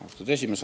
Austatud esimees!